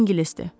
O ingilisdir.